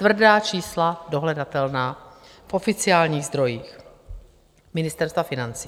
Tvrdá čísla, dohledatelná v oficiálních zdrojích Ministerstva financí.